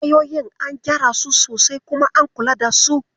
Wayoyin an gyara su sosai kuma an kula da su?